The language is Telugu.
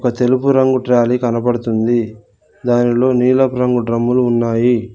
ఒక తెలుపు రంగు ట్రాలీ కనబడుతుంది దానిలో నీలపు రంగు డ్రమ్ములు ఉన్నాయి.